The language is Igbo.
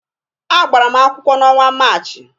A gbara m akwụkwọ n'ọnwa Maachị.